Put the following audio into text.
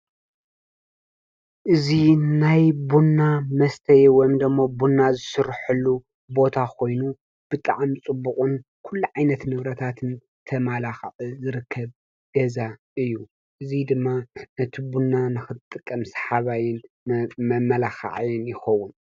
እዚ ናይ ቡና መሰተይ ወይ ቡና ዝስርሀሉ ቦታ ኮይኑ ብጣዕሚ ፅቡቕን ኩሉ ዓይነት ንብረታትን ተማላክዑ ዝርከብ ገዛ እዩ፡፡ እዚ ድማ ነቲ ቡና ንክትጥቀም ሰሓባይን መማላኻዓይን ይኸዉን፡፡